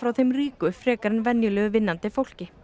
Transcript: þeim ríku frekar en venjulegu vinnandi fólki